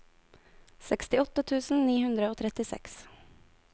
sekstiåtte tusen ni hundre og trettiseks